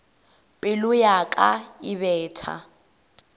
pelo ya ka e betha